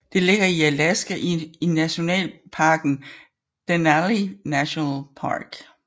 Det ligger i Alaska i nationalparken Denali National Park